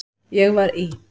Ég var í